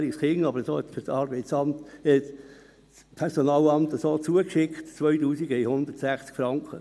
Die Betreuungszulagen für ein 20- und ein 22-jähriges Kind betragen 2160 Franken.